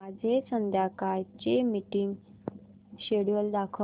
माझे संध्याकाळ चे मीटिंग श्येड्यूल दाखव